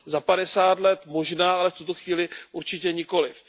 Za padesát let možná, ale v tuto chvíli určitě nikoliv.